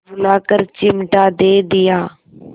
बुलाकर चिमटा दे दिया